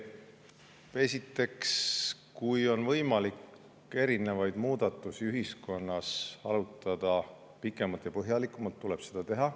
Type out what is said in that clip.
Esiteks, kui on võimalik erinevaid muudatusi ühiskonnas arutada pikemalt ja põhjalikumalt, tuleb seda teha.